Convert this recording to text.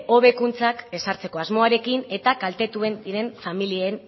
hobekuntzak ezartzeko asmoarekin eta kaltetuak diren familien